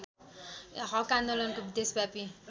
हक आन्दोलनको देशव्यापी